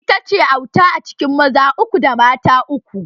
Ita ce auta a cikin maza uku da mata uku